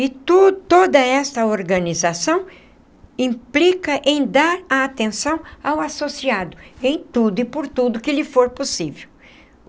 E to toda essa organização implica em dar atenção ao associado, em tudo e por tudo que lhe for possível.